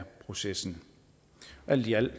processen alt i alt